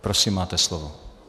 Prosím, máte slovo.